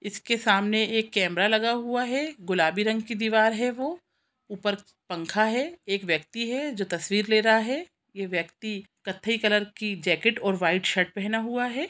इसके सामने एक कैमरा लगा हुआ है गुलाबी रंग की दीवार है वो ऊपर पंखा है एक व्यक्ति है जो तस्वीर ले रहा है ये व्यक्ति कत्थे कलर की जैकेट और वाइट शर्ट पहना हुआ हैं ।